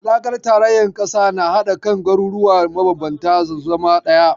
Haɗakar tarayyar ƙasa na haɗa kan garuruwa mabanbanta su zama ɗaya.